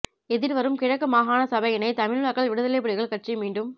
எதிர்வரும் கிழக்கு மாகாண சபையினை தமிழ் மக்கள் விடுதலைப்புலிகள் கட்சி மீண்டும்